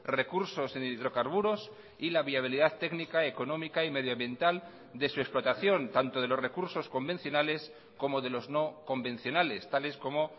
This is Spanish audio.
recursos en hidrocarburos y la viabilidad técnica económica y medioambiental de su explotación tanto de los recursos convencionales como de los no convencionales tales como